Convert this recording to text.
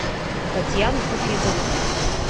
татьяну хафизову